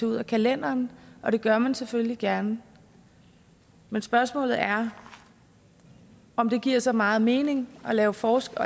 ud af kalenderen det gør man selvfølgelig gerne men spørgsmålet er om det giver så meget mening at lave forskel